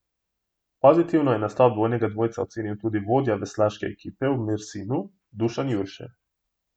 Pozitivno je nastop dvojnega dvojca ocenil tudi vodja veslaške ekipe v Mersinu Dušan Jurše.